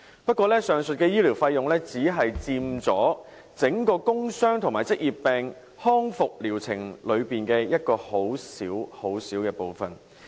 不過，上述的醫療費用只佔整個工傷及職業病康復療程裏的一個很小很小部分。